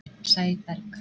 Sæberg